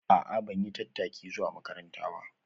A'a ban yi tattaki zuwa makaranta ba